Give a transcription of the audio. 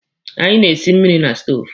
Anyị na-esi mmiri na stoovu.